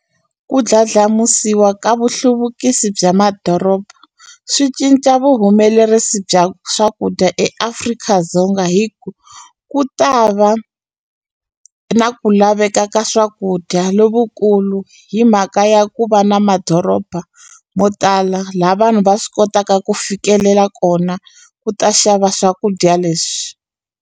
Ku ndlandlamusiwa ka vuhluvukisi bya madoroba swi cinca vuhumelerisi bya swakudya eAfrika-Dzonga hi ku ku ta va na ku laveka ka swakudya lovukulu hi mhaka ya ku va na madoroba mo tala la vanhu va swi kotaka ku fikelela kona ku ta xava swakudya leswi.